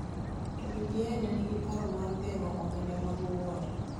To BBI ne nigi paro mar geng�o omenda mag Wuod